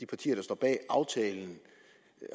partier der står bag aftalen